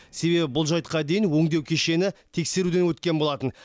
себебі бұл жайтқа дейін өңдеу кешені тексеруден өткен болатын